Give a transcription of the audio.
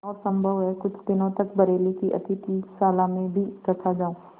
और सम्भव है कुछ दिनों तक बरेली की अतिथिशाला में भी रखा जाऊँ